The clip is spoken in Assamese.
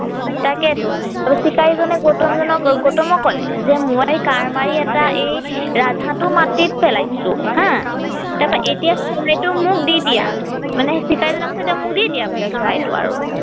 তাকে টো চিকাৰী জনে গৌতম জনক গৌতম কলে যে মই কাঁড় এটা এই ৰাজ হাঁহ টো মাটিত পেলাইছো হা তাপা এতিয়া চৰাইটো মোক দি দিয়া মানে চিকাৰী জনে কৈছে এতিয়া মোক দি দিয়া বোলে চৰাইটো আৰু